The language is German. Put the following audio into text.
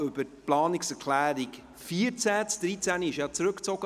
Die Planungserklärung 13 wurde ja zurückgezogen.